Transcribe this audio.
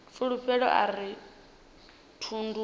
fulufhelo a uri thundu na